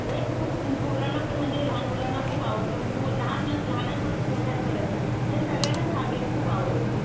म्हणजे खूप पोरांना पण म्हणजे लहान मुलांना खूप आवडतो. लहान मुलं, लहानांपासून मोठ्यांपर्यंत. म्हणजे सगळ्यांनाच हा गेम खूप आवडतो.